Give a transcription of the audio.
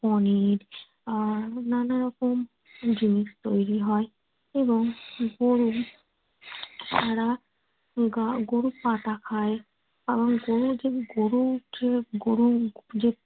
পনির আহ নানা রকম জিনিস তৈরি হয়। এবং গরুর